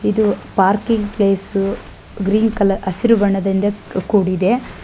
ಇದು parking place green colour ಹಸಿರು ಬಣ್ಣದಿಂದ ಕೂಡಿದೆ.